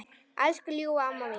Elsku ljúfa amma mín.